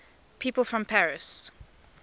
people from paris